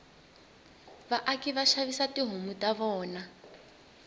vaaki vashavisa tihhomu tavona